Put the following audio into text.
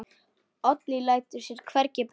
Oddný lætur sér hvergi bregða.